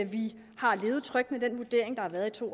vi har levet trygt med den vurdering der har været i to